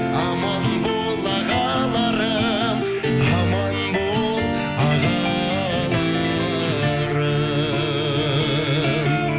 аман бол ағаларым аман бол ағаларым